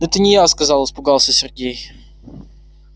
да это не я сказал испугался сергей